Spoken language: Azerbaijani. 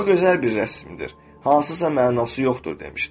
O gözəl bir rəsmidir, hansısa mənası yoxdur demişdi.